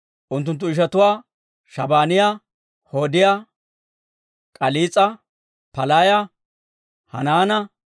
unttunttu ishatuwaa Shabaaniyaa, Hodiyaa, K'aliis'a, Palaaya, Hanaana,